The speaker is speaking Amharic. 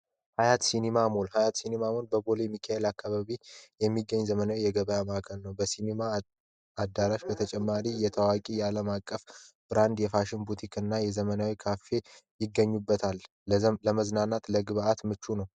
ሃያት ሲኔማ ሞል ሃያት ሲኔማ ሞል በቦሌ ሚካኤል አካባቢ የሚገኝ ዘመናዊ የገበያ ማዕከል ነው በሲኔማ አዳራሽ በተጨማሪ የታዋቂ ያለም አቀፍ ብራንድ የፋሽን ቡቲክ እና የዘመናዊ ካፌ ይገኙበታል ለመዝናናት ለግብይት ምቹ ነው።